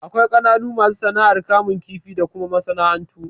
Akwai kananan masu sana'ar kamun kifi da kuma masana'antu.